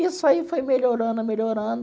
Isso aí foi melhorando, melhorando.